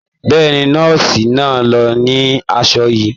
Bẹ́ẹ̀ni, nọ́ọ̀sì náà ló ni aṣọ yìí.